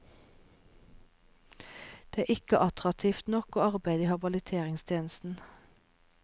Det er ikke attraktivt nok å arbeide i habiliteringstjenesten.